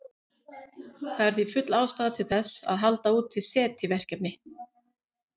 Það er því full ástæða til þess að halda úti SETI-verkefni.